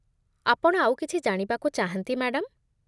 ଆପଣ ଆଉ କିଛି ଜାଣିବାକୁ ଚାହାନ୍ତି, ମ୍ୟାଡାମ୍?